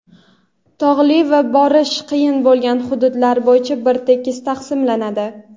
tog‘li va borish qiyin bo‘lgan hududlari bo‘yicha bir tekis taqsimlanadi.